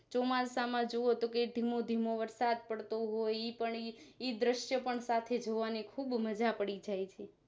ચોમાસા માં જોવો કે ધીમો ધીમો વરસાદ પડતો હોય ઈ પણ એક દ્રશ્ય પણ સાથે જોવાની ખુબ મજા પડી જાય છે